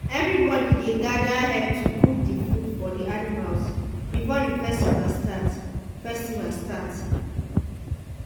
everybody dey gather help to cook the food for the animals before the festival start. festival start.